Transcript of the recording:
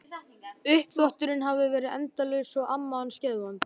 Uppþvotturinn hafði verið endalaus og amma hans geðvond.